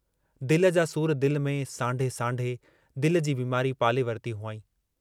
दिल जा सूर दिल में सांढे सांढे दिल जी बीमारी पाले वरती हुआईं।